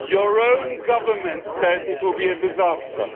Your own government says it will be a disaster.